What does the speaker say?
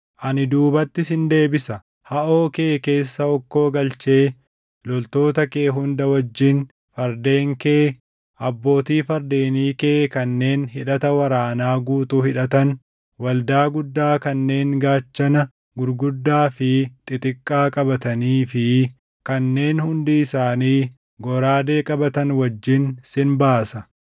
Ani duubatti sin deebisa; haʼoo kee keessa hokkoo galchee loltoota kee hunda wajjin, fardeen kee, abbootii fardeenii kee kanneen hidhata waraanaa guutuu hidhatan, waldaa guddaa kanneen gaachana gurguddaa fi xixiqqaa qabatanii fi kanneen hundi isaanii goraadee qabatan wajjin sin baasa.